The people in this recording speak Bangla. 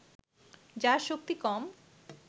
যার শক্তি কম